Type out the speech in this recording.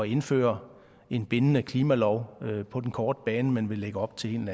indføre en bindende klimalov på den korte bane men lægger op til en